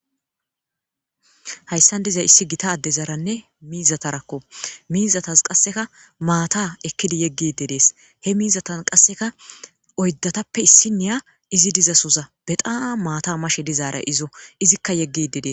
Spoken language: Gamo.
hayssan dizay issi gita adezaranne miizatarakko miizatas qasseka maata ekkidi yeggide dees he miizatan qasseka oyddatappe issi niya izi dizasoza bedaa maata mashe dizaaray izo izikka yeggide dee